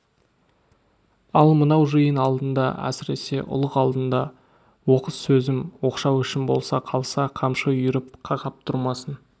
ал мынау жиын алдында әсіресе ұлық алдында оқыс сөзім оқшау ісім бола қалса қамшы үйіріп қақап тұрмасын